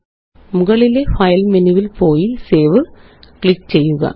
മുകളിലെ ഫയല് മെനുവില് പോയി സേവ് ക്ലിക്ക് ചെയ്യുക